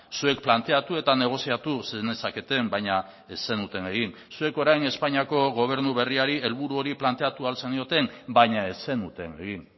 zuek planteatu eta negoziatu zenezaketen baina ez zenuten egin zuek orain espainiako gobernu berriari helburu hori planteatu ahal zenioten baina ez zenuten egin